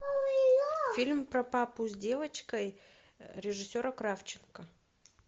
фильм про папу с девочкой режиссера кравченко